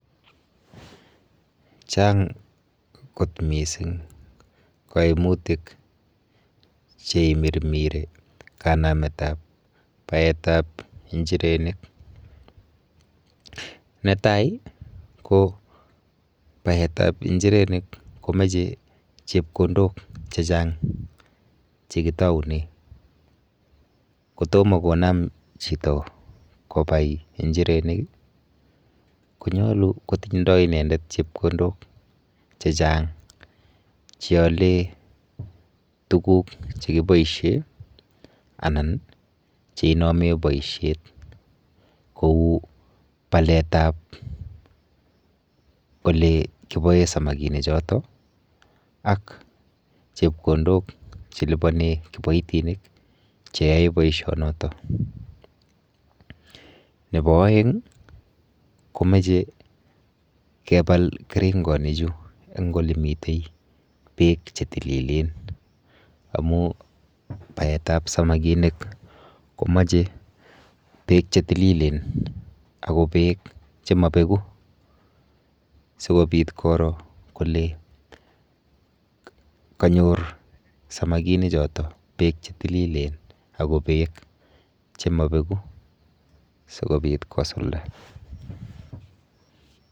Chang kot mising' kaimutik cheimirmiri kanametap baetap injirenik. Netai ko baetap injirenik komeche chepkondok chechang' chekitoune. Kotom konam chito kobai injirenik konyolu kotindoi inendet chepkondok chechang' cheale tuguk chekiboishe anan cheinome boishet kou paletap olekiboe samakinichoto ak chepkondok chelipone kiboitinik cheyoe boishonoto. Nepo oeng komeche kepal keringonichu eng' olemite beek chetililen amu baetap samakinik komeche beek chetililen ako beek chemapeku sikobit koro kole kanyor samakinichoto beek chetililen ako beek chemabeku sikobit kosulda.